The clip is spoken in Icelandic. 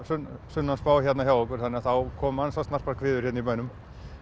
sunnanspá hérna hjá okkur þannig að þá koma ansi snarpar hviður hérna í bænum